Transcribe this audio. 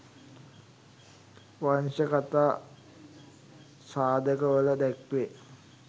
වංශ කථා සාධක වල දැක්වේ